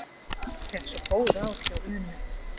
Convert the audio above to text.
Fékk svo góð ráð hjá Unu.